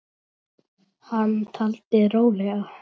Hann taldi rólega